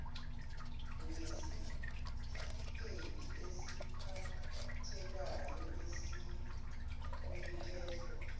ngesitifiketi esiphathekayo asinikezwa